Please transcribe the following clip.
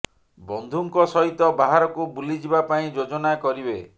ବନ୍ଧୁଙ୍କ ସହିତ ବାହାରକୁ ବୁଲି ଯିବା ପାଇଁ ଯୋଜନା କରିବେ